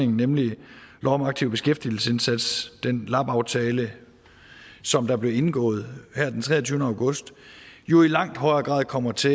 nemlig lov om aktiv beskæftigelsesindsats den lab aftale som der blev indgået her den treogtyvende august jo i langt højere grad kommer til